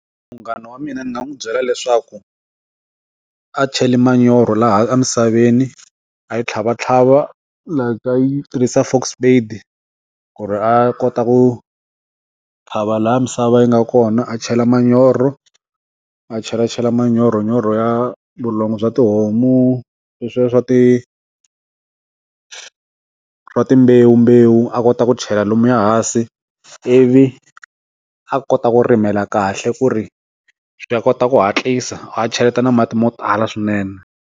Munghana wa mina ni nga n'wi byela leswaku a cheli manyoro laha emisaveni a yi tlhava tlhava leyi ka yi tirhisa fork-spade ku ri a kota ku xava laha misava yi nga kona a chela manyoro a chela chela manyoro manyoro ya vulongo bya tihomu leswiya swa ti timbewu mbewu a kota ku chela lomuya hansi i vi a kota ku rimela kahle ku ri swi ya kota ku hatlisa a cheleta na mati mo tala swinene.